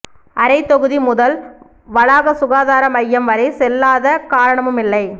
அறைத்தொகுதி முதல் வளாக சுகாதார மையம் வரை செல்லாத காரணமும் இல்லை